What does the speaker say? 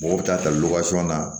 Mɔgɔw bɛ taa ta na